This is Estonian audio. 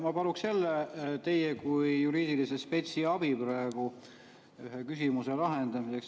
Ma paluks jälle teie kui juriidilise spetsi abi ühe küsimuse lahendamiseks.